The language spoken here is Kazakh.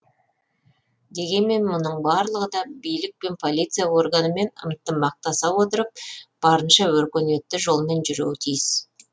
дегенмен мұның барлығы да билік пен полиция органымен ынтымақтаса отырып барынша өркениетті жолмен жүруі тиіс